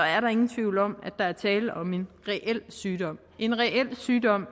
er der ingen tvivl om at der er tale om en reel sygdom en reel sygdom